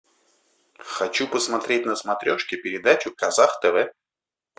хочу посмотреть на смотрешке передачу казах тв